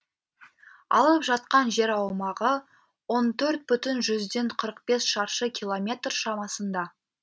алып жатқан жер аумағы он төрт бүтін жүзден қырық бес шаршы километр шамасында